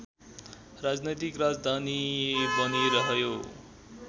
राजनैतिक राजधानी बनिरह्यो